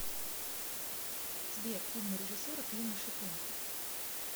сбер фильмы режиссера клима шипенко